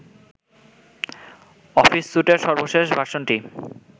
office সুটের সর্বশেষ ভার্সনটি